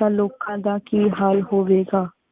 ਤਾ ਲੋਕਾਂ ਦਾ ਕੀ ਹਾਲ ਹੋਵੇ ਗਾ।